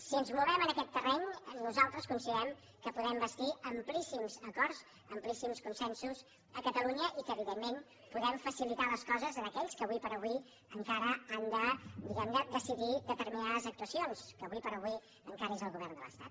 si ens movem en aquest terreny nosaltres considerem que podem bastir amplíssims acords amplíssims consensos a catalunya i que evidentment podem facilitar les coses a aquells que ara com ara encara han de diguem ne decidir determinades actuacions que ara com ara encara és el govern de l’estat